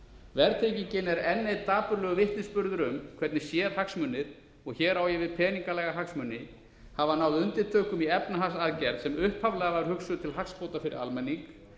verðtryggingin er enn einn dapurlegur vitnisburður um hvernig sérhagsmunir og hér á ég við peningalega hagsmuni hafa náð undirtökum í efnahagsaðgerð sem upphaflega var hugsuð til hagsbóta fyrir almenning